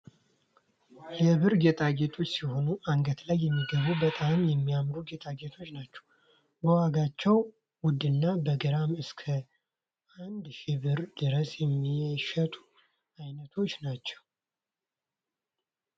የብር ጌጣጌጦች ሲሆኑ አንገት ላይ የሚገቡ በጣም የሚያምሩ ጌጣጌጦች ናቸው በዋጋቸውም ውድና በግራም እስከ እንድ ሽህ ብር ድረስ የሚሸጡ ዐይነቶች ናቸው።